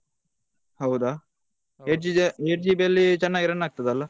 ಹೌದಾ eight GB ಅಲ್ ಚೆನ್ನಾಗಿ run ಆಗ್ತದೆ ಅಲ್ಲ.